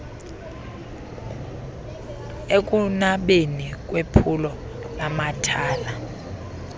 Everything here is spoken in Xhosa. ekunabeni kwephulo lamathala